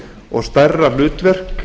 og stærra hlutverk